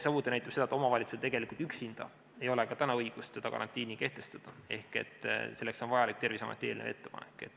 Samuti näitab see seda, et omavalitsusel tegelikult üksinda ei ole ka täna õigust karantiini kehtestada ehk selleks on vaja Terviseameti eelnevat ettepanekut.